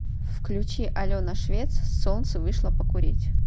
включи алена швец солнце вышло покурить